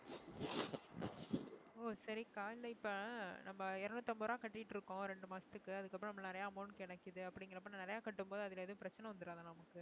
ஓ சரிக்கா இல்ல இப்ப நம்ம இருநூற்று ஐம்பது ரூபாய் கட்டிட்டு இருக்கோம் இரண்டு மாசத்துக்கு அதுக்கப்புறம் நம்ம நிறைய amount அப்படிங்கிறப்ப நிறைய கட்டும்போது அதுல எதுவும் பிரச்சனை வந்துடாதா நமக்கு